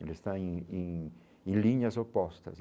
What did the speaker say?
Eles estão em em em linhas opostas.